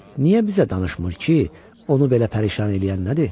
Niyə bizə danışmır ki, onu belə pərişan eləyən nədir?